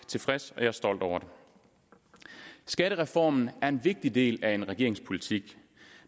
tilfreds med og stolt over skattereformen er en vigtig del af regeringens politik